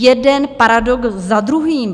Jeden paradox za druhým!